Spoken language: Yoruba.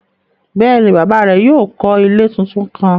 Bẹ́ẹ̀ni, baba rẹ̀ yóò kọ́ ilẹ̀ tuntun kán.